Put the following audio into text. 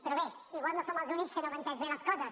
però bé igual no som els únics que no hem entès bé les coses